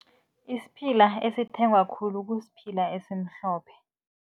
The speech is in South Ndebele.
Isiphila esithengwa khulu kusiphila esimhlophe.